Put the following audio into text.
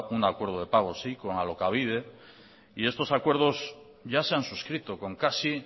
un acuerdo de pago sí con alokabide y estos acuerdo ya se han suscrito con casi